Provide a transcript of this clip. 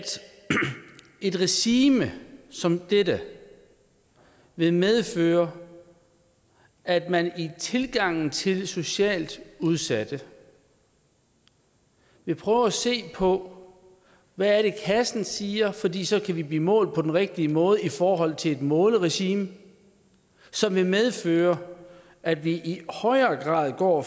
et regime som dette vil medføre at man i tilgangen til de socialt udsatte vil prøve at se på hvad det er kassen siger fordi så kan vi blive målt på den rigtige måde i forhold til et måleregime som vil medføre at vi i højere grad går